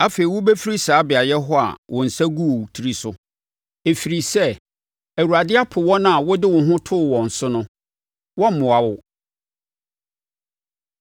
Afei wobɛfiri saa beaeɛ hɔ a wo nsa gu wo tiri so. Ɛfiri sɛ Awurade apo wɔn a wode wo ho too wɔn so no; wɔremmoa wo.